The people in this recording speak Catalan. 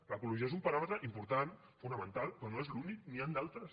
l’ecologia és un paràmetre important fonamental però no és l’únic n’hi han d’altres